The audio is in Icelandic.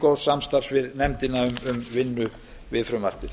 góðs samstarfs við nefndina um vinnu við frumvarpið